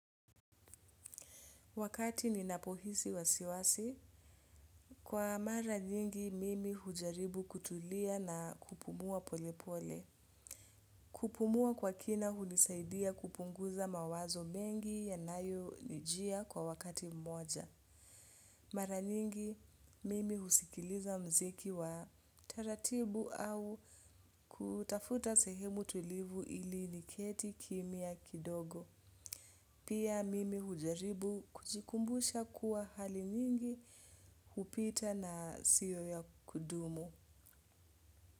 Wakati ninapohisi wasiwasi, kwa mara nyingi mimi hujaribu kutulia na kupumua polepole. Kupumua kwa kina hunisaidia kupunguza mawazo mengi yanayo nijia kwa wakati mmoja. Mara nyingi mimi husikiliza mziki wa taratibu au kutafuta sehemu tulivu ili niketi kimia kidogo. Pia mimi hujaribu kujikumbusha kuwa hali nyingi hupita na siyo ya kudumu.